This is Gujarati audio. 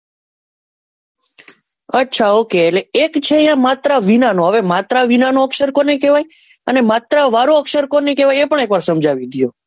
અચ્છા ઓકે એટલે એક છે એ માત્ર વિનાનો હવે માત્ર વિના નો અક્ષર કોને કેવાય અને માત્ર વાળો અક્ષર કોને કેવાય એ પણ એક વાર સમજાવી દિયો.